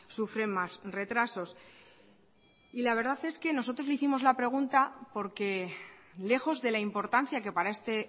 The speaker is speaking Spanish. sufren más retrasos y la verdad es que nosotros le hicimos la pregunta porque lejos de la importancia que para este